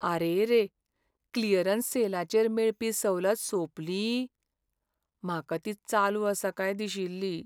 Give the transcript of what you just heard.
आरेरे! Clearance सेलाचेर मेळपी सवलत सोंपली? म्हाका ती चालू आसा काय दिशिल्ली.